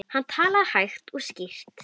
Hann talaði hægt og skýrt.